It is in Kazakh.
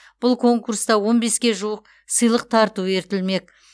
бұл конкурста он беске жуық сыйлық тарту етілмек